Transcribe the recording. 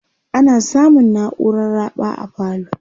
ana samun nauran raɓa a falo